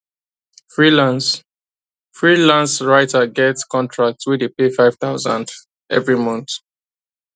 freelance freelance writer get contract wey dey pay five thousand every month